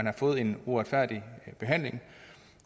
har fået en uretfærdig behandling